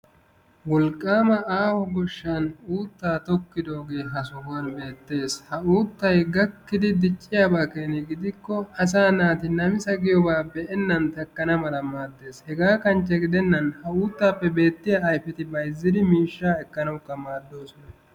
Wolqqaama. aaho goshshan uuttaa tokkidoogee.ha sohuwan beettees. Ha uuttay gakkidi dicciyabaa keena gidikko asaa naati namisa giyobaa be'ennan takkana mala maaddees. Hegga kanchche gidennan ha uuttaappe bewttiya ayfeti bayzzidi miishshaa ekkanawukka maaddoosona.